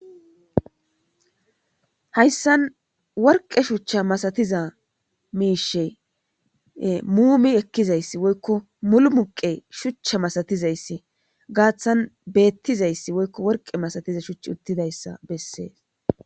hayssan worqe shuchcha masatiza miishe muumi ekkizayssi woykko mulu muqe shuchcha masatizayssi gaaththan beettizayssi woykko worqe masatiza shuchch uttidayssa bessees